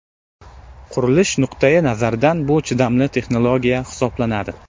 Qurilish nuqtai nazaridan bu chidamli texnologiya hisoblanadi.